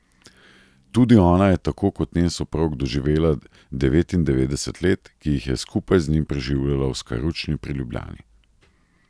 Tudi ona je tako kot njen soprog doživela devetindevetdeset let, ki jih je skupaj z njim preživljala v Skaručni pri Ljubljani.